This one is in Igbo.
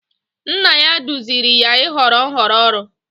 Nna ya duziri ya ịhọrọ nhọrọ ọrụ.